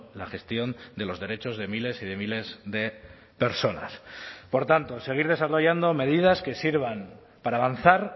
la gestión de los derechos de miles y de miles de personas por tanto seguir desarrollando medidas que sirvan para avanzar